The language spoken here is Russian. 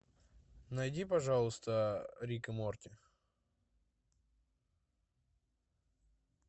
найди пожалуйста рик и морти